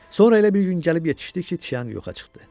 Sonra elə bir gün gəlib yetişdi ki, Tcyanq yoxa çıxdı.